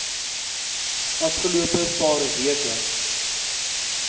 afgelope paar weke